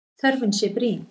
Þörfin sé brýn.